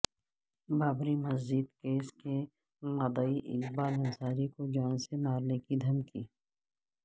Babri Masjid case کے مدعی اقبال انصاری کو جان سے مارنے کی دھمکی